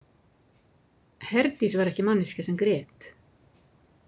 Herdís var ekki manneskja sem grét.